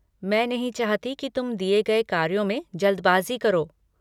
मैं नहीं चाहती की तुम दिये गए कार्यों में जल्दबाज़ी करो।